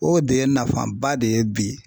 O de ye nafaba de ye bi